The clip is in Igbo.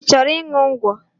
I chọrọ ịṅụ ngwọ?